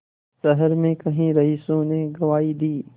शहर में कई रईसों ने गवाही दी